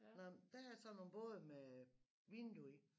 Nåh men der er sådan nogle både med vindue i